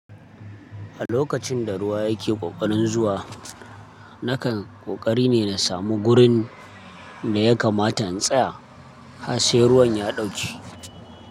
A lokacin da ruwa yake ƙoƙarin zuwa, nakan ƙoƙari ne na samu gurin da ya kamata in tsaya, har sai ruwan ya ɗauke.